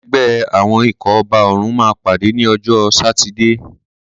Ẹgbẹ́ àwọn ikọ̀ ọba òrùn máa pàdé ní ọjọ́ sátidé.